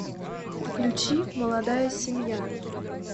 включи молодая семья